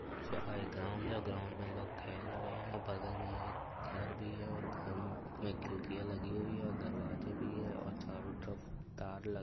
यह एक ग्राउंड है। ग्राउंड में लोग खेल रहे हैं और बगल में एक घर भी है और घर मम में खिड़कियां लगी हुई है और दरवाजे भी हैं और चारों तरफ तार लग --